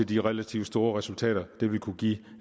de relativt store resultater det ville kunne give